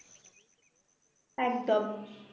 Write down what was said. একদম